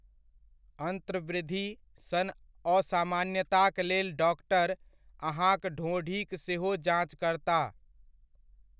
अंत्रवृद्धि सन असामान्यताक लेल डॉक्टर अहाँक ढोंढ़ीक सेहो जाञ्च करताह।